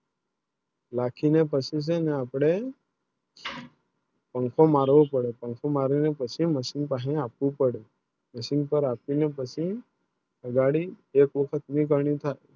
લાઠી ને પછી જાય ના આપણે પાંખો મારવું પડે પાંખો મારવું પછી ને Machine પર આપવી ને પછી ગાડી એક વખત નહિ